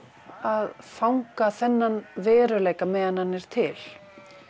að fanga þennan veruleika á meðan hann er til